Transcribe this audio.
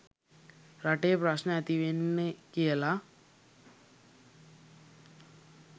රටේ ප්‍රශ්න ඇතිවෙන්නෙ කියලා.